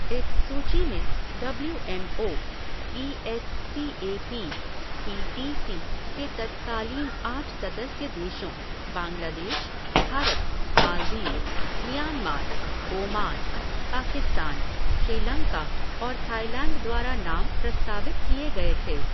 इस सूची में W M O, E S C A P, P T C के तत्कालीन आठ सदस्य देशों बांग्लादेश, भारत, मालदीव, म्यांमार, ओमान, पाकिस्तान, श्रीलंका और थाईलैंड द्वारा नाम प्रस्तावित किए गए थे।